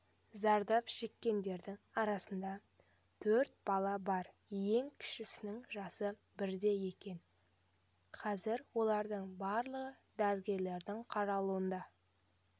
зардап шеккендердің арасында төрт бала бар ең кішісінің жасы бірде екен қазір олардың барлығы дәрігерлердің қарауында